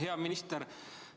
Hea minister!